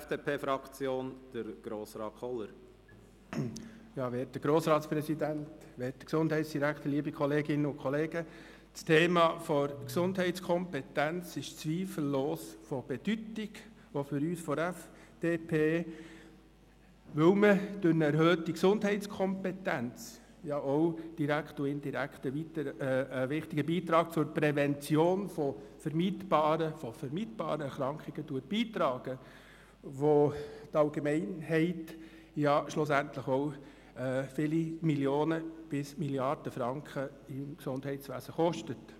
Das Thema «Gesundheitskompetenz» ist zweifellos von Bedeutung, auch für uns von der FDP, weil man durch eine erhöhte Gesundheitskompetenz direkt und indirekt einen wichtigen Beitrag zur Prävention von vermeidbaren Erkrankungen leistet, die zulasten der Allgemeinheit viele Millionen bis Milliarden Franken an Gesundheitskosten verursachen.